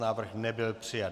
Návrh nebyl přijat.